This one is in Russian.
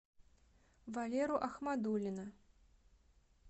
валеру ахмадуллина